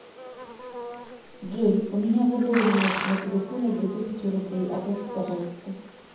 джой у меня задолженность на телефоне две тысячи рублей оплати пожалуйста